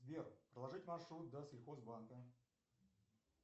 сбер проложить маршрут до сельхоз банка